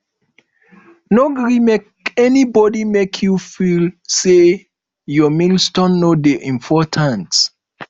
no gree make anybodi make you feel sey your milestone no dey important